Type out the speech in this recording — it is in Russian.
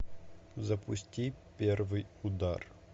запусти первый удар